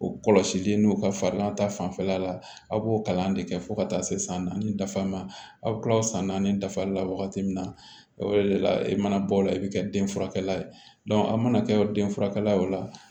O kɔlɔsili n'o ka farigan ta fanfɛla la aw b'o kalan de kɛ fo ka taa se san naani dafa ma aw kila o san naani dafa la wagati min na o de la i mana bɔ o la i bi kɛ den furakɛla ye a mana kɛ den furakɛla ye o la